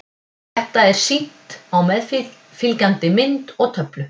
Þetta er sýnt á meðfylgjandi mynd og töflu.